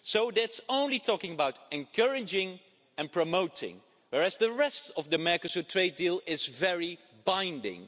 That's only talking about encouraging and promoting, whereas the rest of the Mercosur trade deal is very binding.